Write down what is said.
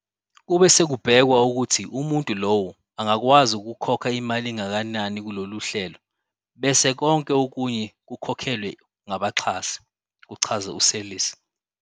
Kube sekubhekwa ukuthi umuntu lowo angakwazi ukukhokha imali engakanani kulolu hlelo, bese konke okunye kukhokhelwe ngabaxhasi," kuchaza u-Seirlis.